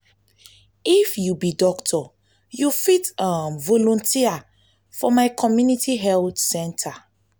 if you be doctor you fit um volunteer for my community health center.